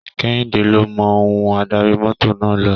Kẹ́hìndé ló mọ ohun adarí mọ́tọ̀ náà lò.